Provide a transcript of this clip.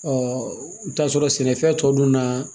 i bɛ t'a sɔrɔ sɛnɛfɛn tɔ dun na